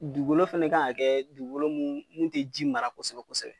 Dugukolo fɛnɛ kan ka kɛ dugukolo ye munnu tɛ ji mara kosɛbɛ kosɛbɛ.